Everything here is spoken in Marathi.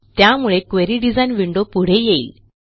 त्यामुळे क्वेरी डिझाइन विंडो पुढे येईल